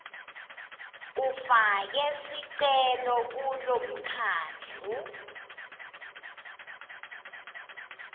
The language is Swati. ufake sicelo kulomkhandlu